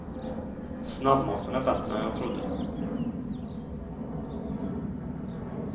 Snabbmaten är bättre än jag trodde.